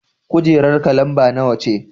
Kujerarka lamba nawa ce?